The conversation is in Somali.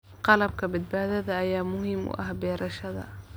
Qalabka badbaadada ayaa muhiim u ah beerashada.